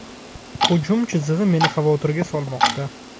Hujum chizig‘i meni xavotirga solmoqda”.